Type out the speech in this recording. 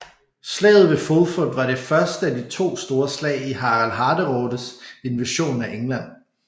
Slaget ved Fulford var det første af de to store slag i Harald Hårderådes invasion af England